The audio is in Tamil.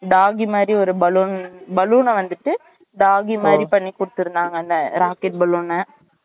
doggy மாறி ஒரு balloon balloon னா வந்துட்டு doggy மாறி பண்ணி குடுத்திருந்தாங்க அந்த rocket balloon னா